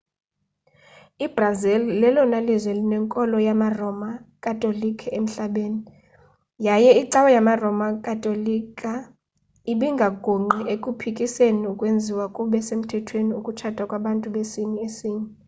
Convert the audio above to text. i-brazil lelona lizwe linenkolo yamaroma katolika emhlabeni yaye icawa yamaroma katolika ibingagungqi ekuphikiseni ukwenziwa kube semthethweni ukutshata kwabantu besini esinye